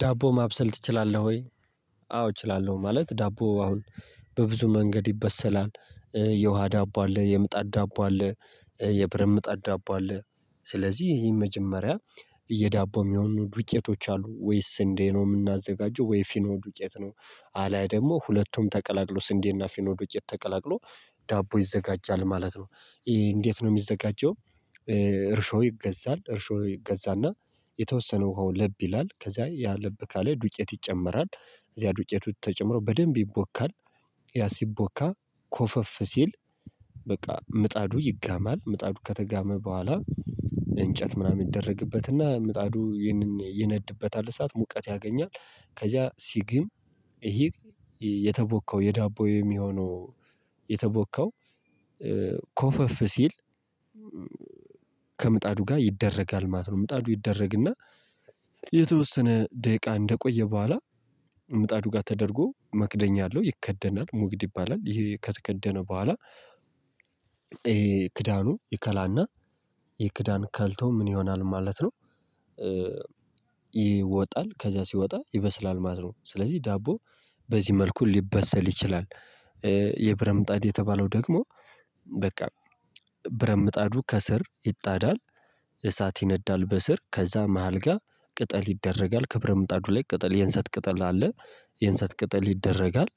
ዳቦ ማብሰል ትችላለህ ወይ? አዎ እችላለሁ ማለት ዳቦ አሁን በብዙ መንገድ ይበሰላል። የውሃ ዳቦ አለ የምጣድ ዳቦ አለ የብረት ምጣድ ዳቦ አለ። ስለዚህ ይሄን መጀመሪያ የዳቦ የሚሆኑ ዱቄቶች አሉ ወይስ ስንዴ ነው የምናዘጋጀው ወይ ፊኖ ዱቄት ነው? አለያ ደግሞ ሁለቱም ተቀላቅሎ ስንዴና ፊኖ ዱቄት ተቀላቅሎ ዳቦ ይዘጋጃል ማለት ነው። እንዴት ነው የሚዘጋጀው? እርሾ ይገዛል እርሾ ይገዛና የተወሰነ ውሃው ለብ ይላል ከዚያ ለብ ካለ ዱቄት ይጨመራል። እዚያ ዱቄቱ ተጨምሮ በደንብ ይቦካል። ያ ሲቦካ ኮፈፍ ሲል በቃ ምጣዱ ይጋማል ምጣዱ ከተጋመ በኋላ። እንጨት ምናምን ይደረግበትና ምጣዱ ይነድበታል እሳት ሙቀት ያገኛል። ከዛ ሲግም ይሄ የተቦካው የዳቦዬ የሚሆነው። የተቦካው ኮፈፍ ሲል ከምጣዱ ጋር ይደረጋል ማለት ነው። ምጣዱ ይደረግና የተወሰነ ደቂቃ እንደቆየ በኋላ። ምጣዱ ጋር ተደርጎ መክደኛ አለው ይከደናል ሙግድ ይባላል ይሄ ከተከደነ በኋላ። ይሄ ክዳኑ ይከላና ይህ ክዳን ከልቶ ምን ይሆናል ማለት ነው። ይወጣል ከዛ ሲወጣ ይበስላል ማለት ነው። ስለዚህ ዳቦ በዚህ መልኩ ሊበሰል ይችላል። የብረት ምጣድ የተባለው ደግሞ በቃ ብረት ምጣዱ ከስር ይጣዳል። እሳት ይነዳል በስር ከዛ መሃል ጋር ቅጠል ይደረጋል ክብረ ምጣዱ ላይ ቅጠል የእንሰት ቅጠል አለ የእንሰት ቅጠል ይደረጋል።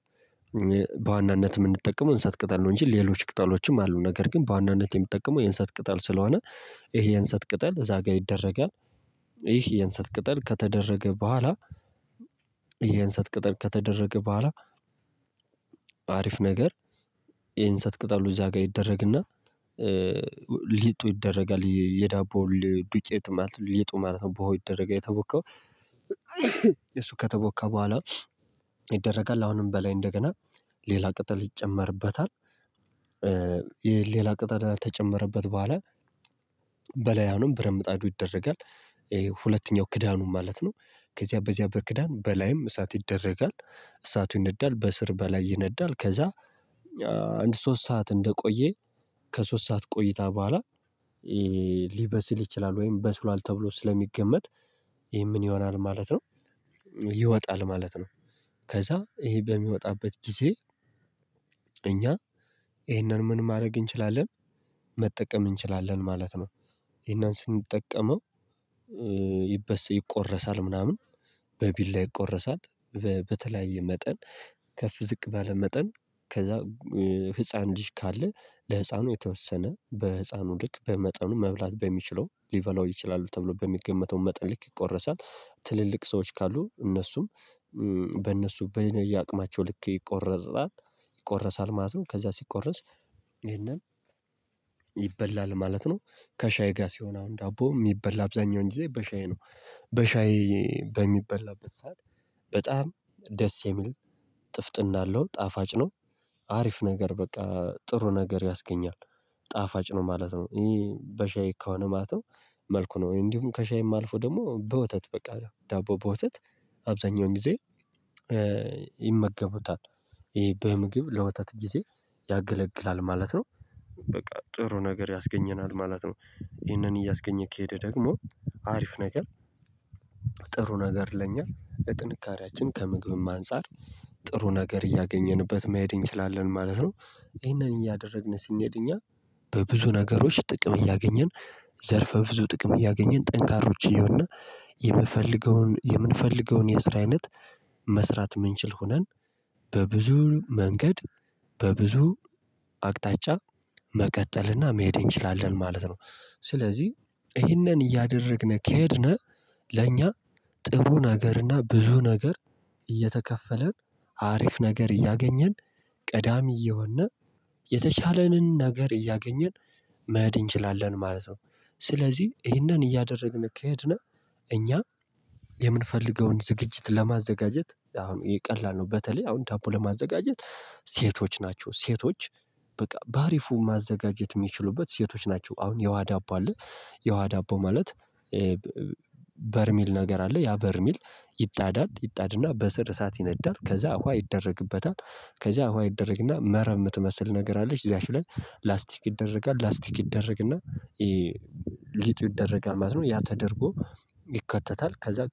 በዋናነት የምንጠቀመው የእንሰት ቅጠል ነው እንጂ ሌሎች ቅጠሎችም አሉ ነገር ግን በዋናነት የምትጠቀመው የእንሰት ቅጠል ስለሆነ። ይሄ የእንሰት ቅጠል እዛ ጋር ይደረጋል። ይሄ የእንሰት ቅጠል ከተደረገ በኋላ። የእንሰት ቅጠል ከተደረገ በኋላ አሪፍ ነገር የእንሰት ቅጠሉ እዛ ጋር ይደረግና። ሊጡ ይደረጋል የዳቦል ዱቄት ማለት ሊጡ ማለት ነው ቡሆው ይደረጋል የተቦከው። ከተቦካ በኋላ ይደረጋል አሁንም በላይ እንደገና ሌላ ቅጠል ይጨመርበታል። ሌላ ቅጠል ከተጨመረበት በኋላ በላይ አሁንም ብረት ምጣዱ አድርጎ ይደረጋል። ይሄ ሁለተኛው ክዳኑ ማለት ነው። ከዚያ በዚያ በክዳን በላይም እሳት ይደረጋል። እሳቱ ይነዳል በእስር በላይ ይነዳል ከዛ አንድ ሶስት ሰዓት እንደቆየ ከሶስት ሰዓት ቆይታ በኋላ። ሊበስል ይችላል ወይም በስሏል ተብሎ ስለሚገመት ይሄ ምን ይሆናል ማለት ነው። ይወጣል ማለት ነው። ከዛ ይሄ በሚወጣበት ጊዜ እኛ ይሄንን ምን ማድረግ እንችላለን? መጠቀም እንችላለን ማለት ነው። ይሄንን ስንጠቀመው ይበሰስ ይቆረሳል ምናምን በቢላ ይቆረሳል። በተለያየ መጠን ከፍ ዝቅ ባለ መጠን ከዛ ህፃን ልጅ ካለ ለህፃኑ የተወሰነ በህፃኑ ልክ በመጠኑ መብላት በሚችለው ሊበላው ይችላሉ ተብሎ በሚገመተው መጠን ልክ ይቆረሳል። ትልልቅ ሰዎች ካሉ እነሱም በእነሱ በየነየ አቅማቸው ልክ ይቆረሳል። ይቆረሳል ማለት ነው ከዛ ሲቆረስ ይሄንን ይበላል ማለት ነው። ከሻይ ጋር ሲሆን አሁን ዳቦ የሚበላ አብዛኛው እንግዲህ በሻይ ነው። በሻይ በሚበላበት ሰዓት በጣም ደስ የሚል ጥፍጥና አለው ጣፋጭ ነው። አሪፍ ነገር በቃ ጥሩ ነገር ያስገኛል ጣፋጭ ነው ማለት ነው። እኔ በሻይ ከሆነ ማለት ነው። መልኩ ነው እንዲሁም ከሻይ የማልፈው ደግሞ በወተት በቃ ዳቦ በወተት አብዛኛውን ጊዜ። ይመገቡታል ይሄ በምግብ ለወተት ጊዜ ያገለግላል ማለት ነው። በቃ ጥሩ ነገር ያስገኘናል ማለት ነው። ይህንን እያስገኘ ከሄደ ደግሞ አሪፍ ነገር ጥሩ ነገር ለኛ ጥንካሬያችን ከምግብም አንፃር ጥሩ ነገር እያገኘንበት መሄድ እንችላለን ማለት ነው። ይሄንን እያደረግን ሲነድ እኛ በብዙ ነገሮች ጥቅም እያገኘን ዘርፈ ብዙ ጥቅም እያገኘን ጠንካሮች እየሆነ የምንፈልገውን የምንፈልገውን የስራ አይነት መስራት የምንችል ሆነን በብዙ መንገድ በብዙ አቅጣጫ መቀጠልና መሄድ እንችላለን ማለት ነው። ስለዚህ ይሄንን እያደረግን ከሄድነ ለእኛ ጥሩ ነገርና ብዙ ነገር እየተከፈለን አሪፍ ነገር እያገኘን ቀዳሚ እየሆነ የተቻለንን ነገር እያገኘን መሔድ እንችላለን ማለት ነው። ስለዚህ ይሄንን እያደረግን ከሄድን እኛ የምንፈልገውን ዝግጅት ለማዘጋጀት አሁን ቀላል ነው። በተለይ አሁን ዳቦ ለማዘጋጀት ሴቶች ናቸው። ሴቶች በቃ በአሪፉ ማዘጋጀት የሚችሉበት ሴቶች ናቸው። አሁን የው ዳቦ አለ የውሃ ዳቦ ማለት በርሚል ነገር አለ ያ በርሚል ይጣዳል ይጣድና በስር እሳት ይነዳል ከዛ እኮ ይደረግበታል ከዛ አዋ ይደረግና መረብ የምትመስል ነገር አለች እዛሽ ላይ ላስቲክ ይደረጋል ላስቲክ ይደረግና ይሄ ሊጡ ይደረጋል ማለት ነው። ያ ተደርጎ ይከተታል ከዛ